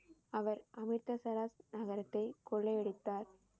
அவர் அமிர்தசரஸ் நகரத்தை கொள்ளையடித்தார்.